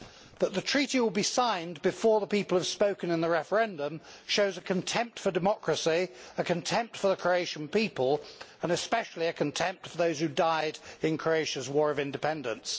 That the Treaty will be signed before the people have spoken in the referendum shows a contempt for democracy, a contempt for the Croatian people and especially a contempt for those who died in Croatia's war of independence.